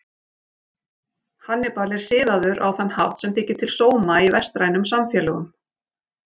Hannibal er siðaður á þann hátt sem þykir til sóma í vestrænum samfélögum.